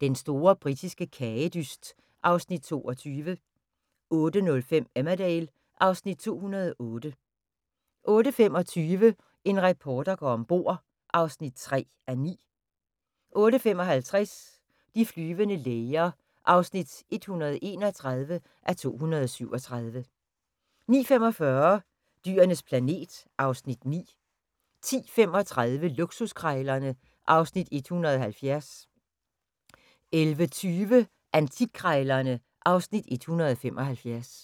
Den store britiske kagedyst (Afs. 22) 08:05: Emmerdale (Afs. 208) 08:25: En reporter går ombord (3:9) 08:55: De flyvende læger (131:237) 09:45: Dyrenes planet (Afs. 9) 10:35: Luksuskrejlerne (Afs. 170) 11:20: Antikkrejlerne (Afs. 175)